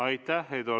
Aitäh!